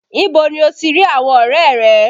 Ibo ni o ti rí àwọn ọrẹ rẹ?